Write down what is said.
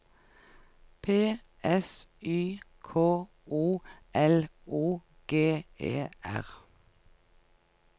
P S Y K O L O G E R